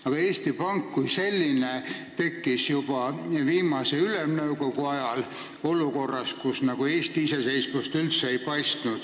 Aga Eesti Pank kui selline tekkis juba viimase Ülemnõukogu ajal, olukorras, kus Eesti iseseisvust üldse ei paistnud.